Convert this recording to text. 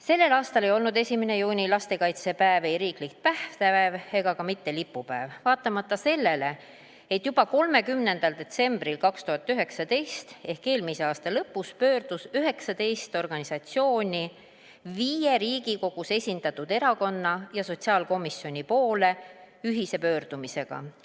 Sellel aastal ei olnud 1. juuni, lastekaitsepäev, ei riiklik tähtpäev ega ka mitte lipupäev, vaatamata sellele, et juba 30. detsembril 2019 ehk eelmise aasta lõpus pöördus 19 organisatsiooni viie Riigikogus esindatud erakonna ja sotsiaalkomisjoni poole ühise pöördumisega.